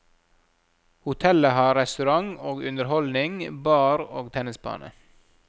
Hotellet har restaurant og underholdning, bar og tennisbane.